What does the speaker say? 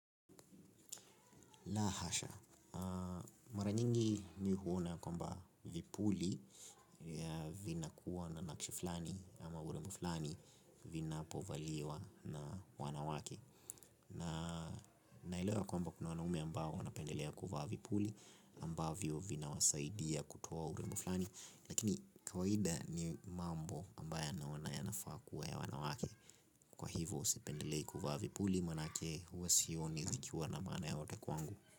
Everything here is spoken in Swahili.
La hasha, mara nyingi mimi huona kwamba vipuli ya vinakuwa na nakshi fulani ama urembo fulani vinapovaliwa na wanawake. Naelewa ya kwamba kuna wanaume ambao wanapendelea kuwa vipuli ambao vina wasaidia kutoa urembo fulani. Lakini kawaida ni mambo ambayo naona yanafaa kuwa ya wanawake. Kwa hivyo sipendelei kuvaa vipuli manake huwa sioni zikiwa na maana yoyote kwangu.